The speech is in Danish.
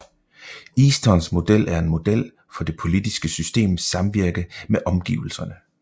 Eastons model er en model for det politiske systems samvirke med omgivelserne